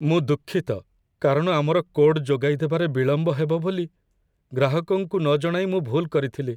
ମୁଁ ଦୁଃଖିତ କାରଣ ଆମର କୋଡ୍ ଯୋଗାଇଦେବାରେ ବିଳମ୍ବ ହେବ ବୋଲି ଗ୍ରାହକଙ୍କୁ ନ ଜଣାଇ ମୁଁ ଭୁଲ କରିଥିଲି।